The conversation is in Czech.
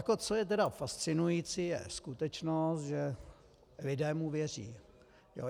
A co je tedy fascinující, je skutečnost, že lidé mu věří.